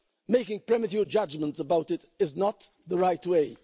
Making premature judgments about it is not the right way.